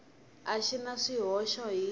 a xi na swihoxo hi